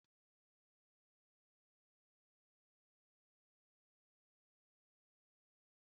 N'ụlọ akwụkwọ, Emma gbanwere sanwichi ya maka uto isi ewu Ada.